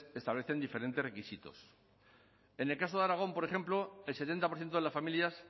establecen diferentes requisitos en el caso de aragón por ejemplo el setenta por ciento de las familias